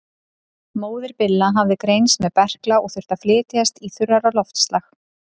Móðir Billa hafði greinst með berkla og þurfti að flytjast í þurrara loftslag.